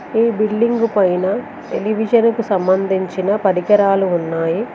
ఈ బిల్డింగ్ పైన టెలివిషన్ కు సంబంధించిన పరికరాలు ఉన్నాయి.